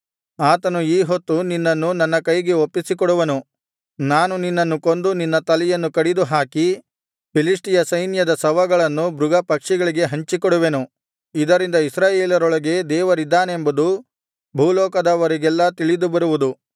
ಆತನು ಈ ಹೊತ್ತು ನಿನ್ನನ್ನು ನನ್ನ ಕೈಗೆ ಒಪ್ಪಿಸಿಕೊಡುವನು ನಾನು ನಿನ್ನನ್ನು ಕೊಂದು ನಿನ್ನ ತಲೆಯನ್ನು ಕಡಿದು ಹಾಕಿ ಫಿಲಿಷ್ಟಿಯ ಸೈನ್ಯದ ಶವಗಳನ್ನು ಮೃಗ ಪಕ್ಷಿಗಳಿಗೆ ಹಂಚಿಕೊಡುವೆನು ಇದರಿಂದ ಇಸ್ರಾಯೇಲರೊಳಗೆ ದೇವರಿದ್ದಾನೆಂಬುದು ಭೂಲೋಕದವರಿಗೆಲ್ಲಾ ತಿಳಿದುಬರುವುದು